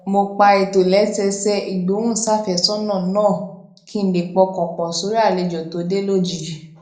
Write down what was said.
mo pa ìtòlésẹẹsẹ ìgbóhùnsáfésónà náà kí n lè pọkàn pò sórí àlejò tí ó dé lójijì